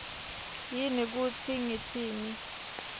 yini kutsi ngitsini